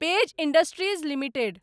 page industries limited